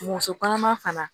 Muso kɔnɔma fana